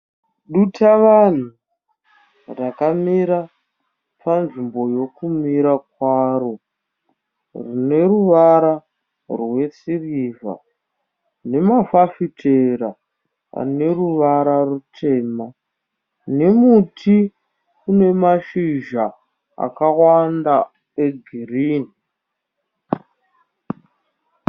Dutavanhu rakamira panzvimbo yokumira kwaro. Rine ruvara rwesirivha nemafafitera ane ruvara rutema, nemuti une mashizha akawanda egirini.